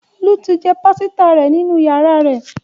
Olu tí jé pàsìta rẹ nínú yàrá rè